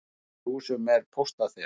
Í eldri húsum var póstaþil.